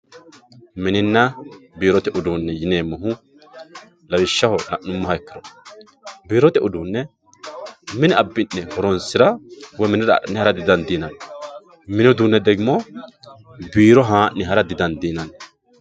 mininna biirote uduunne yineemmohu lawishshaho la'nummoha ikkiro biirote uduunne mine abbi'ne horonsira woy minira adhine hara didandiinanni mini uduunne degimo biiro haa'ne hara di dandiinanni.